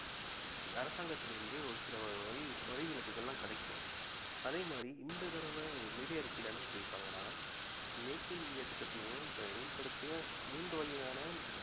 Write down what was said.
அரசாங்கத்தில் இருந்தே ஒரு சில வரி வரி விலக்குகள்லாம் கிடைக்கும் அதே மாதிரி இந்த தடவை நிதி அறிக்கைல என்ன சொல்லி இருக்காங்கனா make in இந்தியா திட்டத்தின் மூலம் அமல்படுத்திய மூன்று வகையான